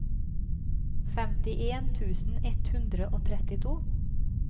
femtien tusen ett hundre og trettito